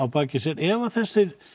baki sér ef þessir